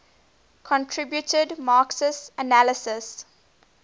contributed marxist analyses